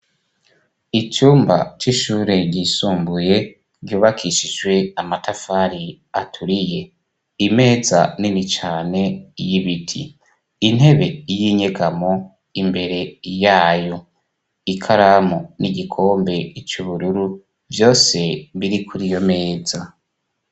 Icumba c'ishure risumbuye ryubakishijwe amatafari aturiye imeza nini cane y'ibiti, intebe y'inyegamo imbere yayo ikaramu n'igikombe cubururu vyose biri kuriyo meza.